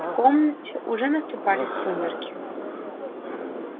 в комнате уже наступали сумерки